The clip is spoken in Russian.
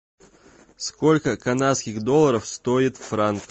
сколько канадских долларов стоит франк